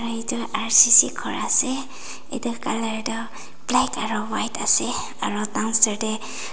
na etu R_C_C ghor ase etu colour toh black aro white ase aro downstair tey.